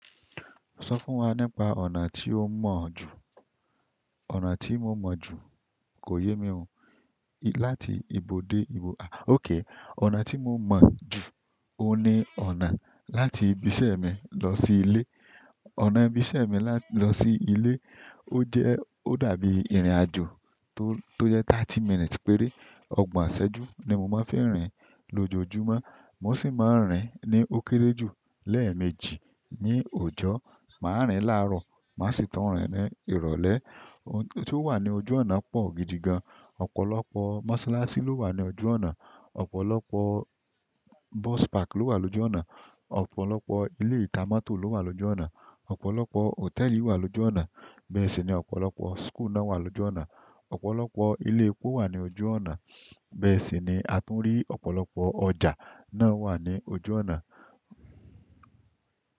Sọ fún wa nípa ọ̀nà tí ó mọ̀ jù. Ọ̀nà tí mo mọ̀ jù kò yé mi oo. Láti ibo dé ibo, ó ké. Ọ̀nà tí mo mọ̀ jù, ó ní ọ̀nà láti ibi iṣẹ́ mi lọ sí ilé. Ọ̀nà ibi iṣẹ́ mi lá lọ sí ilé, ó jẹ́, ó dàbí ìrìnàjò tó, tó jẹ́ thirty minutes péré. Ògbón aṣẹ́jú ni mo máa ń fẹ́ rìn lójoójúmọ́. Mo sì máa ń rìn ní ó kéré jù lẹ́ẹ̀mejì ní òjò, màá rìn láàárọ̀, màá sì tún rìn ní ìrọ̀lẹ́. Ohun tó wà ní ojú ọ̀nà pọ̀ gidi gan. Ọ̀pọ̀lọpọ̀ mọ́sálásí ló wà ní ojú ọ̀nà. Ọ̀pọ̀lọpọ̀ bus park ló wà lójú ọ̀nà. Ọ̀pọ̀lọpọ̀ ilé ìta mọ́tò ló wà lójú ọ̀nà. Ọ̀pọ̀lọpọ̀ hòtẹ́ẹ̀lì wà lójú ọ̀nà. Bẹ́ẹ̀ sì ni ọ̀pọ̀lọpọ̀ school náà wà lójú ọ̀nà. Ọ̀pọ̀lọpọ̀ ilé epo wà ní ojú ọ̀nà. Bẹ́ẹ̀ sì ni a tún rí ọ̀pọ̀lọpọ̀ ọjà náà wà ní ojú ọ̀nà.